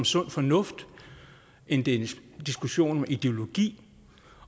sund fornuft end det er en diskussion om ideologi